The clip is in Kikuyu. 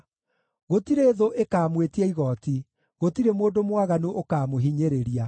Gũtirĩ thũ ĩkaamwĩtia igooti. gũtirĩ mũndũ mwaganu ũkaamũhinyĩrĩria.